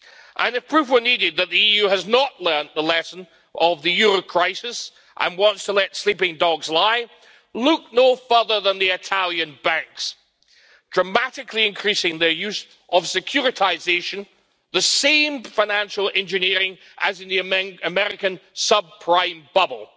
And if proof were needed that the EU has not learnt the lesson of the euro crisis and wants to let sleeping dogs lie, look no further than the Italian banks, dramatically increasing their use of securitisation the same financial engineering as in the American sub prime bubble.